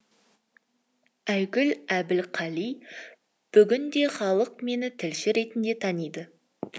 айгүл әбілқали бүгінде халық мені тілші ретінде таниды